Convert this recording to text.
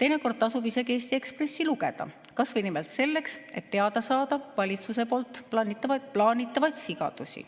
teinekord tasub isegi Eesti Ekspressi lugeda, kas või selleks, et teada saada valitsuse plaanitavaid sigadusi.